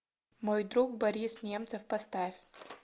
мой друг борис немцов поставь